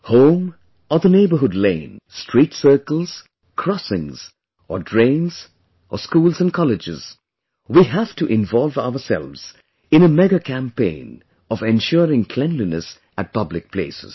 Home or the neighbourhood lane, street circles, crossings, or drains, schools and colleges ... we have to involve ourselves in a Mega campaign of ensuring cleanliness at public places